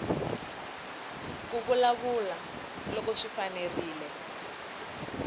ku vulavula loko swi fanerile